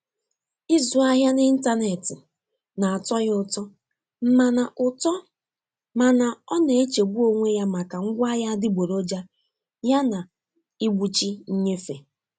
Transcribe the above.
Ịzụ ahịa n'ịntanetị na-atọ ya ụtọ mana ụtọ mana ọ na-echegbu onwe ya maka ngwaahịa adịgboroja yana ịgbụchi nnyefe.